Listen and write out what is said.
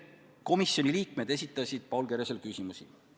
Komisjoni liikmed esitasid Paul Keresele küsimusi.